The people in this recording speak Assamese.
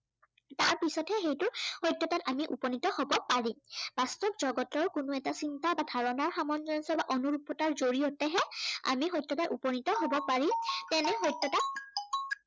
তাৰ পিছতহে সেইটো সত্য়তাত আমি উপনীত হব পাৰিম। বাস্তৱ জগতৰ কোনো এটা চিন্তা বা ধাৰনাৰ সামঞ্জস্য়তা বা অনুৰূপতা জড়িয়তেহে আমি সত্য়াত উপনীত হব পাৰি তেনে সত্য়তাক